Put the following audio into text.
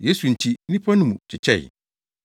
Yesu nti nnipa no mu kyekyɛe.